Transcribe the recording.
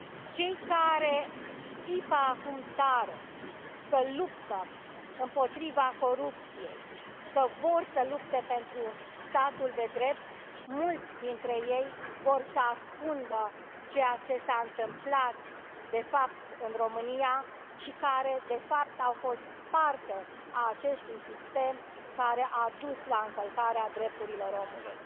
Cei care țipă acum tare că luptă împotriva corupției, că vor să lupte pentru statul de drept, mulți dintre ei vor să ascundă ceea ce s a întâmplat de fapt în România și, de fapt, au fost parte a acestui sistem care a dus la încălcarea drepturilor omului.